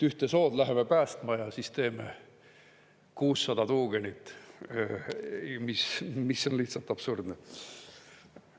Ühte sood läheme päästma ja siis teeme 600 tuugenit, mis on lihtsalt absurdne.